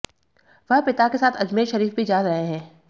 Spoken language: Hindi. वह पिता के साथ अजमेर शरीफ भी जा रहे हैं